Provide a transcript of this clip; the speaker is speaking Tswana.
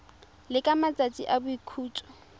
le ka matsatsi a boikhutso